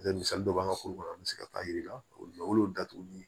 misali dɔ b'an ka kurukuru an bɛ se ka taa yir'i la o y'o datugu